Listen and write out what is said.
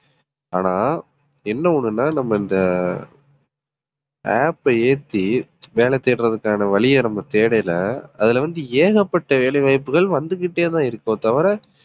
ஆனா என்ன ஒண்ணுன்னா நம்ம இந்த ஆஹ் app அ ஏத்தி வேலை தேடுறதுக்கான வழியை நம்ம தேடைலை அதுல வந்து ஏகப்பட்ட வேலை வாய்ப்புகள் வந்துகிட்டேதான் இருக்கோ தவிர